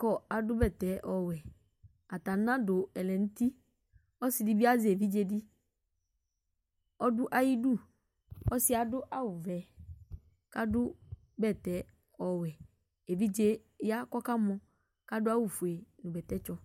kadu bɛtɛ ɔwɛ ata anadu ɛlɛ nu uti ɔsidi bi azɛ evidze di ɔdu ayidu ɔsiɛ adu awu vɛ kadu bɛtɛ ɔwɛ evidze ya ku ɔkamɔ adu awu fue bɛtɛ tsɔ